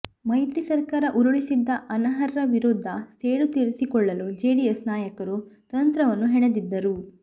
ಮೈತ್ರಿ ಸರ್ಕಾರ ಉರುಳಿಸಿದ್ದ ಅನರ್ಹರ ವಿರುದ್ದ ಸೇಡು ತೀರಿಸಿಕೊಳ್ಳಲು ಜೆಡಿಎಸ್ ನಾಯಕರು ತಂತ್ರವನ್ನು ಹೆಣೆದಿದ್ದರು